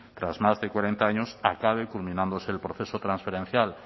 tras más de cuarenta años acabe culminándose el proceso transferencial